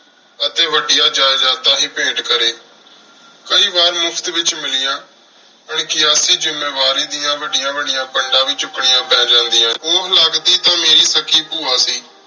ਅਤੀ ਵਾਦਿਯ ਜੈਦਾਤਾਂ ਹੇ ਭੈਂਟ ਕਰੀ ਕਈ ਵਾਰ ਮੁਫਤ ਵਿਚ ਮਿਲਿਯਨ ਅਨ੍ਖਿਯਾਤੀ ਜਿਮੀ ਵਾਰੀ ਡਿਯਨ ਵਾਦਿਯਾਂ ਵਾਦਿਯਾਂ ਪੰਡਾਂ ਵੀ ਚੁਕ੍ਨਿਯਾਂ ਪੀ ਜਾਨ੍ਦਿਯਾ ਓਹ ਹੁਣ ਲਗਦੀ ਤਾਂ ਮੇਰੀ ਵਾਦੀ ਪੁਵਾ ਸੀ